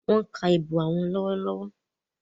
Wón ká ìbò àwọn lọwọlọwọ.